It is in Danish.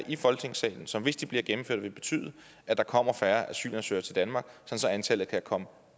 i folketingssalen som hvis de bliver gennemført vil betyde at der kommer færre asylansøgere til danmark så antallet kan komme